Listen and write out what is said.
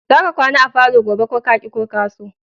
Za ka kwana a falo gobe ko ka ki ko ka so!